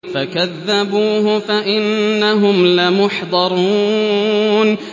فَكَذَّبُوهُ فَإِنَّهُمْ لَمُحْضَرُونَ